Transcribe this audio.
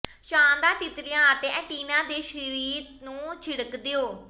ਸ਼ਾਨਦਾਰ ਤਿਤਲੀਆਂ ਅਤੇ ਐਂਟੀਨਾ ਦੇ ਸਰੀਰ ਨੂੰ ਛਿੜਕ ਦਿਓ